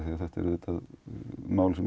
þetta er mál sem